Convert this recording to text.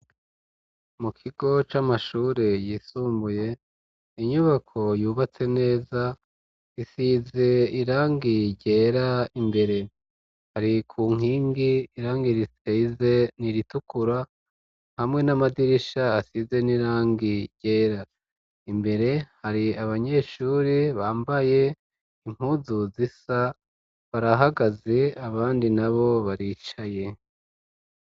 Mu kigo c'amashure yisumbuye, inyubako yubatse neza isize irangi ryera imbere, hari ku nkingi irangi risize n'iritukura, hamwe n'amadirisha asize n'irangi ryera, imbere hari abanyeshure bambaye impuzu zisa, barahagaze abandi nabo baricaye.